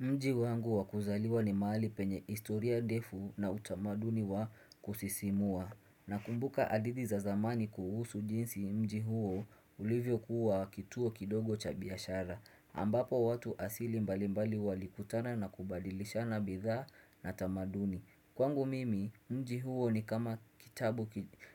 Mji wangu wakuzaliwa ni mahali penye historia defu na utamaduni wa kusisimua na kumbuka hadidhi za zamani kuhusu jinsi mji huo ulivyo kuwa kituo kidogo cha biashara ambapo watu asili mbali mbali walikutana na kubadilishana bidha na tamaduni Kwangu mimi, mji huo ni kama kitabu